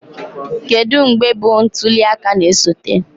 Kedu mgbe bụ ntuli aka na-esote?